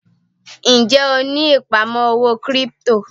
Ń jẹ́ ó ní ìpamọ́ owó kírípítò?